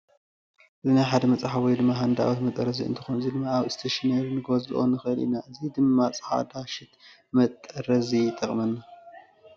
እዚ ናይ ሓደ መፅሓድ ወይ ሃንዳኣውት መጠረዚ እንትኮን እዚ ድማ ኣብ እስቴሽነሪ ንገዝኦ ንክእል ኢና። እዚ ድማ ፃዕዳ ሽት ንመጠረዚ ይጠቅመና።